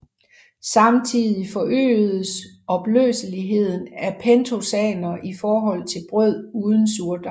Samtidig forøges opløseligheden af pentosaner i forhold til brød uden surdej